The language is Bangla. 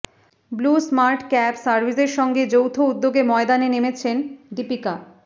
ব্লু স্মার্ট ক্যাব সাভির্সের সঙ্গে যৌথ উদ্যোগে ময়দানে নেমেছেন দীপিকা